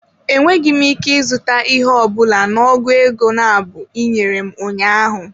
Enweghị m ike ịzụta ihe ọ bụla na ọgụ ego nabụ ị nyere m ụnyaahụ.